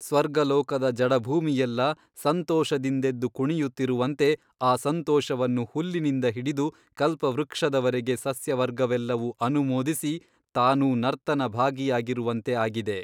ಸ್ವರ್ಗಲೋಕದ ಜಡಭೂಮಿಯೆಲ್ಲ ಸಂತೋಷದಿಂದೆದ್ದು ಕುಣಿಯುತ್ತಿರುವಂತೆ ಆ ಸಂತೋಷವನ್ನು ಹುಲ್ಲಿನಿಂದ ಹಿಡಿದು ಕಲ್ಪವೃಕ್ಷದವರೆಗೆ ಸಸ್ಯವರ್ಗವೆಲ್ಲವೂ ಅನುಮೋದಿಸಿ ತಾನೂ ನರ್ತನ ಭಾಗಿಯಾಗಿರುವಂತೆ ಆಗಿದೆ.